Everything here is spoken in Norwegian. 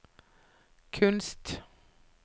kunst